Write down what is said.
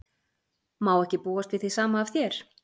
Má ekki búast við því sama af þér?